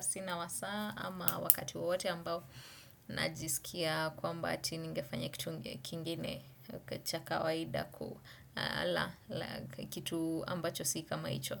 sina wasaa ama wakati wawote ambao najisikia kwamba ati nigefanya kitu kingine cha kawaida kitu ambacho si kama hicho.